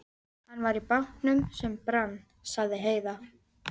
Hann var í bátnum sem brann, sagði Heiða.